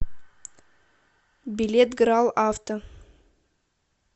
билет грал авто